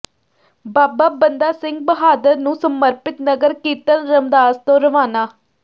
ਬਾਬਾ ਬੰਦਾ ਸਿੰਘ ਬਹਾਦਰ ਨੂੰ ਸਮਰਪਿਤ ਨਗਰ ਕੀਰਤਨ ਰਮਦਾਸ ਤੋਂ ਰਵਾਨਾ